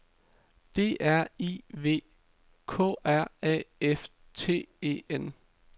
D R I V K R A F T E N